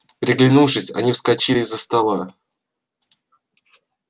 переглянувшись они вскочили из за стола